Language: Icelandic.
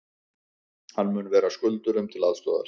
Hann mun vera skuldurum til aðstoðar